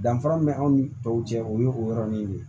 Danfara min bɛ anw ni tɔw cɛ o ye o yɔrɔnin de ye